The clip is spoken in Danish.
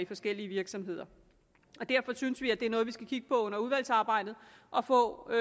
forskellige virksomheder derfor synes vi at det er noget vi skal kigge på under udvalgsarbejdet og få